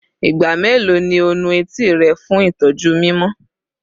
Igba melo ni o nu eti rẹ fun itọju mimọ?